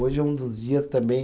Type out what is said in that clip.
Hoje é um dos dias também